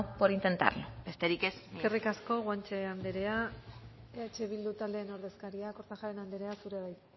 por intentarlo besterik ez eskerrik asko eskerrik asko guanche anderea eh bildu taldearen ordezkaria kortajarena anderea zurea da hitza